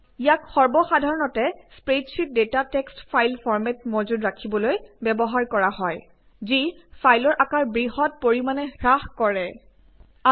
ইয়াক সৰ্বসাধাৰণতে spreadsheet data text file ফৰ্মেটত মজুত ৰাখিবলৈ ব্যৱহাৰ কৰা হয় যি ফাইলৰ আকাৰ বৃহত্ পৰিমানে হ্ৰাস কৰে আৰু ই সহজ সংবাহ্য